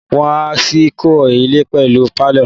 Wọ́n á ṣì kọ́ ilẹ̀ pẹ̀lú pálọ̀